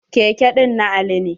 Keke ɗin na Ali ne.